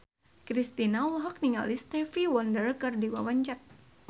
Kristina olohok ningali Stevie Wonder keur diwawancara